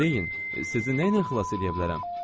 Deyin, sizi nəylə xilas eləyə bilərəm?